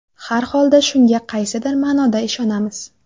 Har holda shunga qaysidir ma’noda ishonamiz.